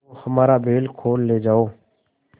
तो हमारा बैल खोल ले जाओ